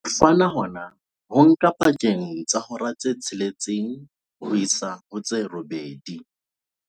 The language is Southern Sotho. Ho fana hona ho nka pakeng tsa hora tse tsheletseng ho isa ho tse robedi.